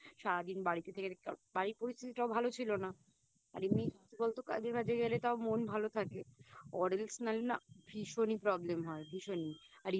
সারাদিন বাড়িতে থেকে থেকে কারণ বাড়ির পরিস্থিতিটাও ভালো ছিল না আর এমনি কি বলতো কাজে ওয়াজে গেলে তও মন ভালো থাকে Or else নালে না ভীষণই Problem হয় ভীষণই